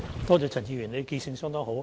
多謝陳議員，他的記性相當好。